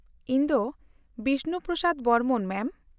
-ᱤᱧ ᱫᱚ ᱵᱤᱥᱱᱩ ᱯᱨᱚᱥᱟᱫ ᱵᱚᱨᱢᱚᱱ, ᱢᱮᱢ ᱾